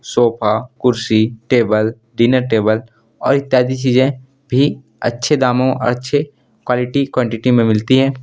Sofa कुर्सी table dinner table और इत्यादि चीजें भी अच्छे दामों अच्छे क्वालिटी क्वांटिटी में मिलती है।